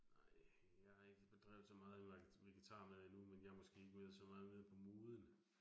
Nej, jeg har ikke bedrevet så meget vegetarmad endnu, men jeg måske ikke været så meget med på moden